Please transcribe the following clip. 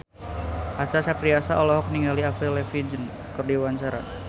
Acha Septriasa olohok ningali Avril Lavigne keur diwawancara